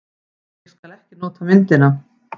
Ég skal ekki nota myndina.